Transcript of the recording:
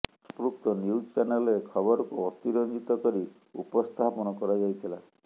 ସଂପୃକ୍ତ ନ୍ୟୁଜ୍ ଚ୍ୟାନେଲରେ ଖବରକୁ ଅତି ରଞ୍ଜିତ କରି ଉପସ୍ଥାପନ କରାଯାଇଥିଲା